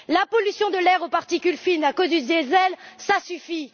La pollution de l'air aux particules fines à cause du diesel, ça suffit!